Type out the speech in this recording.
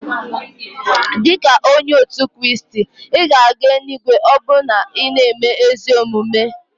Dika onye otu Kraist, ị ga-aga eluigwe ma ọ bụrụ na ị na-eme ezi omume.